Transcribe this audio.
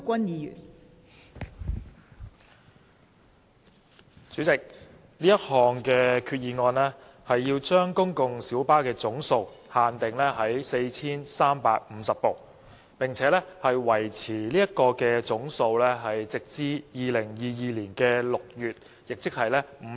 代理主席，這項擬議決議案是要把公共小巴的總數上限訂為 4,350 部，並維持這個上限直至2022年6月，即是為期5年。